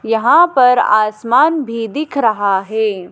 यहां पर आसमान भी दिख रहा है।